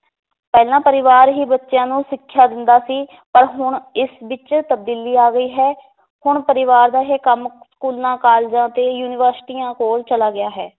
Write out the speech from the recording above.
ਪਹਿਲਾਂ ਪਰਿਵਾਰ ਹੀ ਬੱਚਿਆਂ ਨੂੰ ਸਿੱਖਿਆ ਦਿੰਦਾ ਸੀ ਪਰ ਹੁਣ ਇਸ ਵਿਚ ਤਬਦੀਲੀ ਆ ਗਈ ਹੈ ਹੁਣ ਪਰਿਵਾਰ ਦਾ ਇਹ ਕੰਮ ਸਕੂਲਾਂ, ਕਾਲਜਾਂ ਤੇ, ਯੂਨੀਵਰਸਿਟੀਆਂ ਕੋਲ ਚਲਾ ਗਿਆ ਹੈ